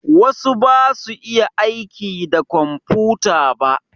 Wasu basu iya aiki da komfuta ba.